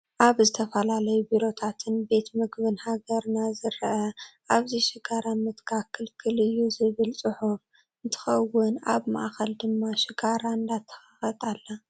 ኣብ ዝተፈላለየ ቢሮታትን ቤት ምግብን ሃገርና ዝርአ "ኣብዚ ሽጋራ ምትካኽ ክልክል እዩ!" ዝብል ፅሑፍ እንትኸውን ኣብ ማእኸል ድማ ሽጋራ እንዳተኸኸት ኣላ፡፡